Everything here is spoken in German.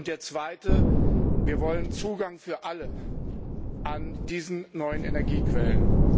Der zweite Wir wollen Zugang für alle zu diesen neuen Energiequellen.